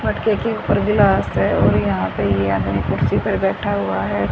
मटके के ऊपर ग्लास हैं और यहां पे ये आदमी कुर्सी पे बैठा हुआ है।